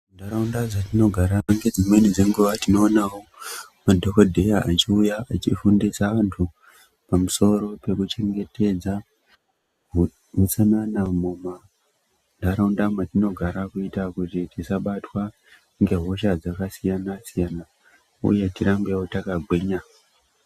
Muntaraunda dzatinogara dzimweni dzenguva tinowonawo madhogodheya echiwuya efundisa vantu pamusoro pekuchengetedza hutsanana mumantaraunda matinogara kuita kuti tisabatwa ngehosha dzakasiyana siyana uyewo tirambe takagwinya.